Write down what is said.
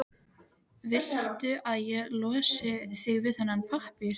Viltu að ég losi þig við þennan pappír?